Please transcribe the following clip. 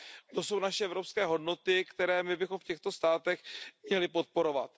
To jsou naše evropské hodnoty, které bychom v těchto státech měli podporovat.